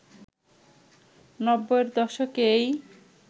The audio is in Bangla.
নব্বইয়ের দশকেই